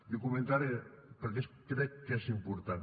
i ho comentaré perquè crec que és important